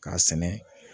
K'a sɛnɛ